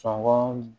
Sɔngɔ